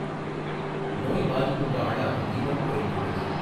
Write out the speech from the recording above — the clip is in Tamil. நோய் பாதிப்புக்கு ஆளாகும் வீதம் குறைந்துள்ளது